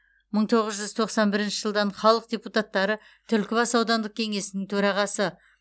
мың тоғыз жүз тоқсан бірінші жылдан халық депутаттары түлкібас аудандық кеңесінің төрағасы